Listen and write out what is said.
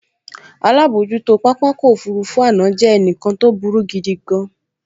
Alábojútó pápákọ̀ òfurufú àná jẹ́ ẹnìkan tó burú gidigan